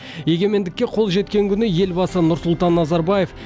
егемендікке қол жеткен күні елбасы нұрсұлтан назарбаев